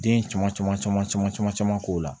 Den caman caman caman caman caman caman k'o la